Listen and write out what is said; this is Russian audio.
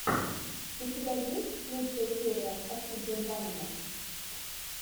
у тебя есть лучшая серия оксидженванума